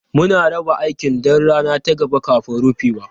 Muna raba aiki don rana ta gaba kafin rufewa.